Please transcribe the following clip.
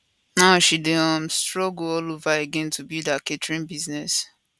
now she dey um struggle all over again to build her catering business